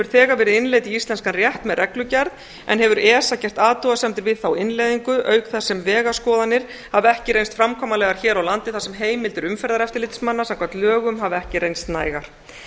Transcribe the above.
þegar verið innleidd í íslenskan rétt með reglugerð en hefur esa gert athugasemdir við þá innleiðingu auk þess sem vegaskoðanir hafa ekki reynst framkvæmanlegar hér á landi þar sem heimildir umferðareftirlitsmanna samkvæmt lögum hafa ekki reynst nægar